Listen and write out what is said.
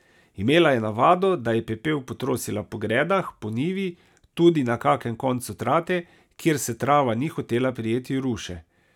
Imela je navado, da je pepel potrosila po gredah, po njivi, tudi na kakem koncu trate, kjer se trava ni hotela prijeti ruše.